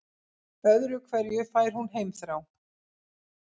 Öðru hverju fær hún heimþrá.